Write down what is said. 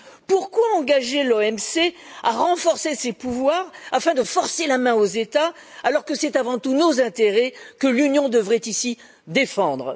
Pourquoi engager l'OMC à renforcer ses pouvoirs afin de forcer la main aux États alors que c'est, avant tout, nos intérêts que l'Union devrait ici défendre?